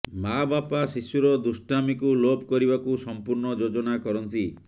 ମାଆବାପା ଶିଶୁର ଦୁଷ୍ଟାମିକୁ ଲୋପ କରିବାକୁ ସମ୍ପୂର୍ଣ୍ଣ ଯୋଜନା କରନ୍ତି